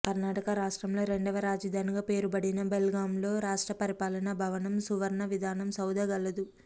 కర్నాటక రాష్ట్రంలో రెండవ రాజధానిగా పేరు పడిన బెల్గాంలో రాష్ట్ర పరిపాలనా భవనం సువర్ణ విధాన సౌధ కలదు